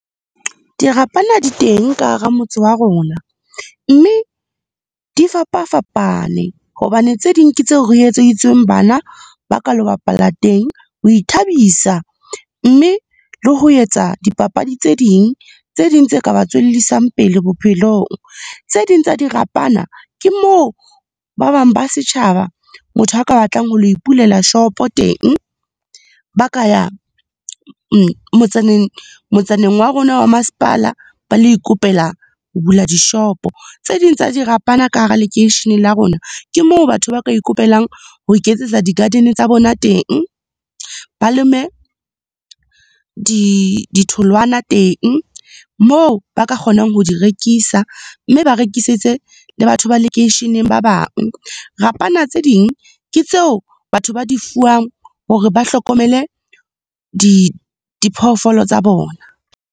Dirapana di teng ka hara motse wa rona mme di fapa-fapane hobane tse ding ke tseo re etseditsweng bana, ba ka lo bapala teng ho ithabisa mme le ho etsa dipapadi tse ding tse ka ba tswellisang pele bophelong. Tse ding tsa dirapana, ke moo ba bang ba setjhaba, motho a ka batlang ho lo ipulela shopo teng. Ba ka ya motsaneng wa rona wa masepala, ba lo ikopela ho bula dishopo. Tse ding tsa dirapana ka hara lekeisheneng la rona, ke moo batho ba ka ikopelang ho iketsetsa di-garden tsa bona teng, ba leme ditholwana teng moo ba ka kgonang ho di rekisa, mme ba rekisetse le batho ba lekeisheneng ba bang. Rapana tse ding, ke tseo batho ba di fuwang hore ba hlokomele diphoofolo tsa bona.